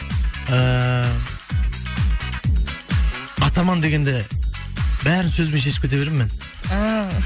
ііі атаман дегенде бәрін сөзбен шешіп кете беремін мен ііі